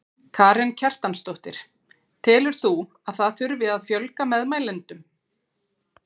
Karen Kjartansdóttir: Telur þú að það þurfi að fjölga meðmælendum?